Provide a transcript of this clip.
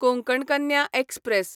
Konkan Kanya express